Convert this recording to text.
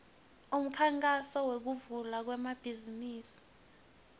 umkhankaso wekuvula emabhizimisi